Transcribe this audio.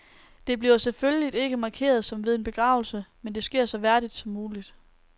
Det bliver selvfølgelig ikke markeret som ved en begravelse, men det sker så værdigt som muligt.